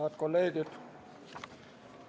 Head kolleegid!